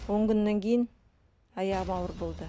он күннен кейін аяғым ауыр болды